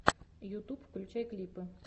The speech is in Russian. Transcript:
ютуб включай клипы